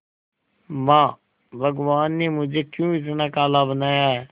मां भगवान ने मुझे क्यों इतना काला बनाया है